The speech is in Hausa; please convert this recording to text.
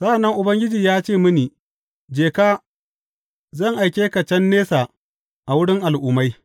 Sa’an nan Ubangiji ya ce mini, Je ka; zan aike ka can nesa a wurin Al’ummai.’